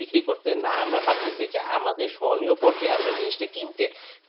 বিক্রি করতে না আমরা পারতেছি যা আমাদের সো নিও পর্যায় আমরা জিনিসটা কিনতে